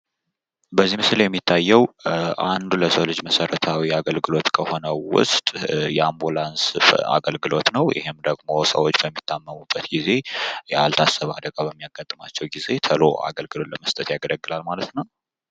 በዚህ ምስል የሚታየው አነዱ የሰው ልጅ መሰረታዊ አገልግሎት ከሆነው ውስጥ አንዱ የሆነው አምቡላንስ አገልግሎት ነው። ይህም ደግሞ ሰዎች በሚታመሙበት ጊዜ፤ ያልታሰበ አዳጋ በሚያጋጥማቸው ጊዜ ተሎ አገልግሎት ይሰጣል ማለት ነው።